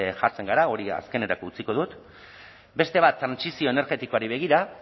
jartzen gara hori azkenerako utziko dut beste bat trantsizio energetikoari begira